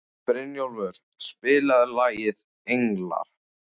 Brynjólfur, spilaðu lagið „Englar“.